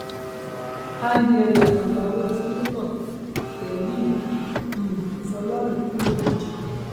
angela ìyàwó seneto tẹlim um fọlọrin kú lójijì